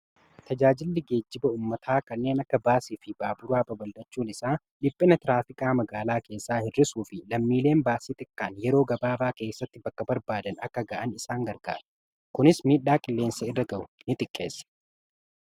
tajaajilli geejjiba ummataa kanneen akka baasii fi baaburaa babaldhachuun isaa dhiphina tiraafikaa magaalaa keessaa hir'isuu fi lammiileen baasii xiqqaan yeroo gabaabaa keessatti bakka barbaadan akka ga'an isaan gargaara kunis miidhaa qilleensa irra ga'u ni xiqqeessa.